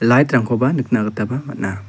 lait rangkoba nikna gitaba man·a.